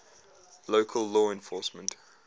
local law enforcement